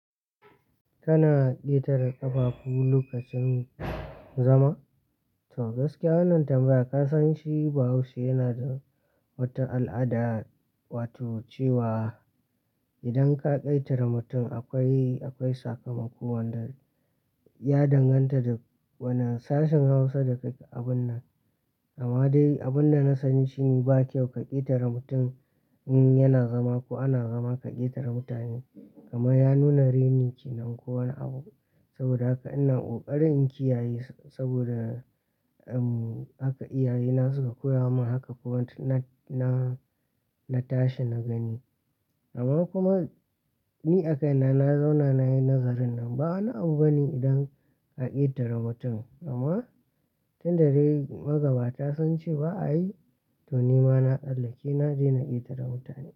Kana ƙetare ƙafafu lokacin zama? To gaskiya wannan tambaya ka san shi ba haushi yana da wata al'ada, wato cewa idan ka ƙetare mutum akwai, akwai sakamako wanda ya danganta da wani sashin Hausa da ka yi abun nan. Amma dai abun da na sani shi ba kyau ka ƙetare mutum in yana zama ko ana zama ka ƙetare mutane. Gama ya nuna reni kenan ko wani abu. Saboda haka ina ƙoƙarin in kiyaye saboda, um, haka iyayena suka koya mun haka kuma na, na, na tashi na gani. Amma kuma ni a kaina na zauna nayi nagarin nan ba wani abu bane idan ka ƙetare mutum amma tun da dai magabata sun ce ba'a yi to ni ma na tsallake na daina ƙetare mutane.